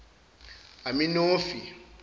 aminofi